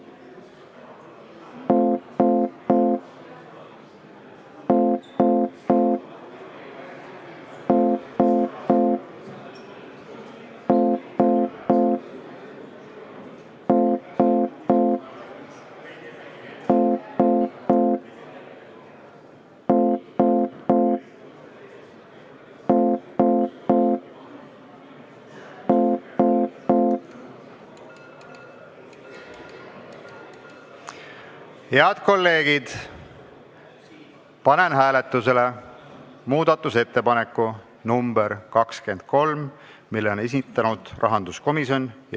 Head kolleegid, panen hääletusele muudatusettepaneku nr 23, mille on esitanud rahanduskomisjon.